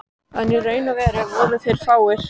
En í raun og veru voru þeir fáir.